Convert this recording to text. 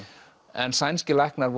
en sænskir læknar